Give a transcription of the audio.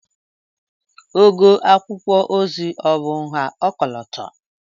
Ogo akwụkwọ ozi ọ̀ bụ nha ọkọlọtọ?